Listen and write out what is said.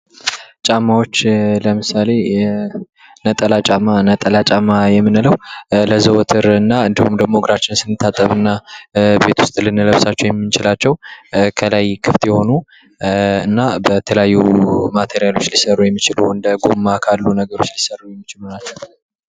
ጫማዎች ለምሳሌ፦ ነጠላ ጫማ ነጠላ ጫማ የምንለው ለዘወትርና ወይም ደግሞ እግራችንን ስንታጠብ እና ቤት ውስጥ ልንለብሳቸው የምንችላቸው ከላይ ክፍት የሆኑ እና በተለያዩ ማቴሪያሎች ሊሰሩ የሚችሉ እንደ ጎማ ካሉ ነገሮች ሊሰሩ የሚችሉ ነገሮች ናቸዉ።